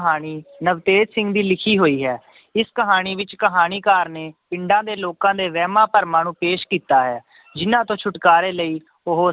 ਕਹਾਣੀ ਨਵਤੇਜ ਸਿੰਘ ਦੀ ਲਿਖੀ ਹੋਈ ਹੈ ਇਸ ਕਹਾਣੀ ਵਿੱਚ ਕਹਾਣੀਕਾਰ ਨੇ ਪਿੰਡਾਂ ਦੇ ਲੋਕਾਂ ਦੇ ਵਹਿਮਾਂ ਭਰਮਾਂ ਨੂੰ ਪੇਸ਼ ਕੀਤਾ ਹੈ ਜਿਹਨਾਂ ਤੋਂ ਛੁਟਕਾਰੇ ਲਈ ਉਹ